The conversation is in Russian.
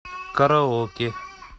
караоке